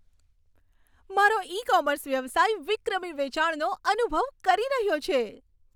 મારો e commerce વ્યવસાય વિક્રમી વેચાણનો અનુભવ કરી રહ્યો છે.